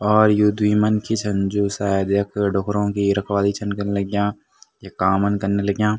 और यु द्वि मनखी छन जू सायद यख डूखरों की रखवाली छन कन लग्याँ य काम न कन लग्याँ।